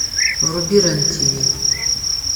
вруби рен тв